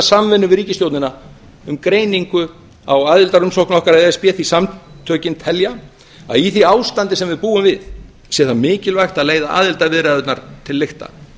samvinnu við ríkisstjórnina um greiningu á aðildarumsókn okkar að e s b því samtökin telja að í því ástandi sem við búum við sé það mikilvægt að leiða aðildarviðræðurnar til lykta